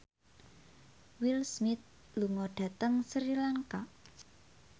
Will Smith lunga dhateng Sri Lanka